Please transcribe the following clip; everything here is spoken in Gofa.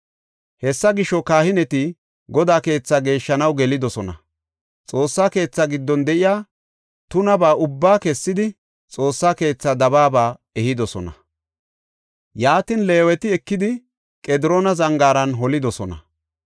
Hessa gisho, kahineti Godaa keethaa geeshshanaw gelidosona; Xoossa keethaa giddon de7iya tunaba ubbaa kessidi, Xoossa keethaa dabaaba ehidosona. Yaatin Leeweti ekidi Qediroona Zangaaran holidosona.